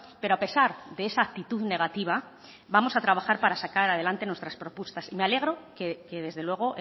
pero a pesar de esa actitud negativa vamos a trabajar para sacar adelante nuestras propuestas me alegro que desde luego